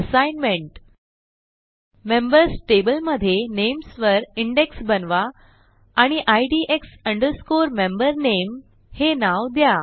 assignment members table मधे names वरindex बनवा आणि IDX MemberName हे नाव द्या